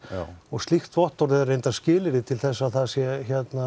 slíkt vottorð er skilyrði til þess að það sé